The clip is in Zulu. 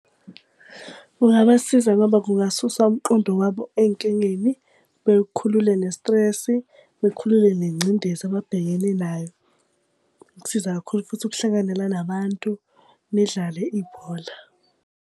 Kungabasiza ngoba kungasusa umqondo wabo ey'nkingeni bekhulule nestresi, bakhulule nengcindezi ababhekene nayo. Kusiza kakhulu futhi ukuhlanganyela nabantu, nidlale ibhola.